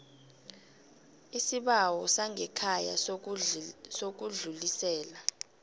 isibawo sangekhaya sokudlulisela